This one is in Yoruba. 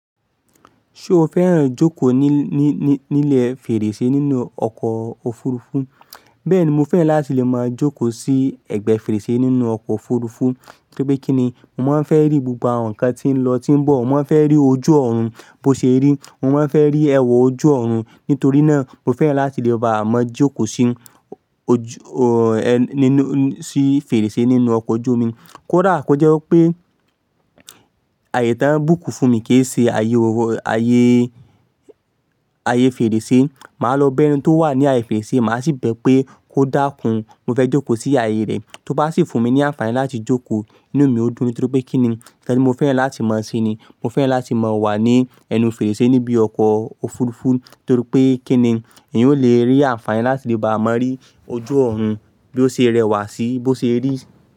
Ṣé o fẹ́ràn ijókòó ní, ní, ní, ní ilé fèrèsé nínú ọkọ̀ òfurufú? Bẹ́ẹ̀ni, mo fẹ́ràn láti lè máa jókòó sí ẹ̀gbẹ́ fèrèsé nínú ọkọ̀ òfurufú. Torí pé kí ni? Mo máa ń fẹ́ rí gbogbo àwọn nǹkan tí ń lọ, tí ń bọ̀. Mo máa ń fẹ́ rí ojú ọ̀run bó ṣe rí. Mo máa ń fẹ́ rí ẹwà ojú ọ̀run. Nítorí náà, mo fẹ́ràn láti lè bá maa jókòó sí ojú, nínú, sí fèrèsé nínú ọkọ̀ ojú omi. Kódà kó jẹ́ pé ààyè tán book fún mi kì í ṣe ààyè, ààyè, ààyè fèrèsé. Màá lọ ba ẹni tó wà ní ààyè fèrèsé, màá sì bẹ pé kó dákun. Mo fẹ́ jókòó sí ààyè rẹ̀. Tó bá sì fún mi ní àǹfààní láti jókòó inú mi, ó dùn. Tori pe kini? Nkan tí mo fẹ́ràn láti maa se ni. Mo fẹ́ràn láti maa wà ní ẹnu fèrèsé níbi ọkọ̀ òfurufú. Torí pé kí ni? Ẹ̀eyan ó lè rí àǹfààní láti lè bá maa rí ojú ọ̀run bí ó ṣe rẹwà sí i, bó ṣe rí.